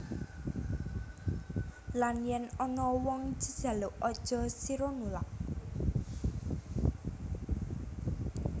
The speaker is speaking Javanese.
Lan yen ana wong jejaluk aja sira nulak